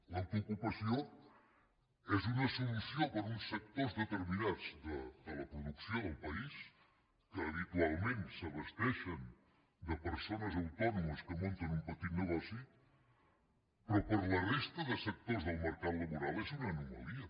l’autoocupació és una solució per a uns sectors determinats de la producció del país que habitualment s’abasten de persones autònomes que munten un petit negoci però per a la resta de sectors del mercat laboral és una anomalia